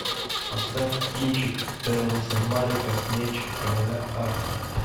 поставь кинчик терренса малика меч короля артура